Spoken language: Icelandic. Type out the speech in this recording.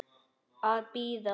Að bíða.